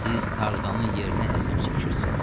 Siz Tarzanın yerinə əzab çəkirsiniz.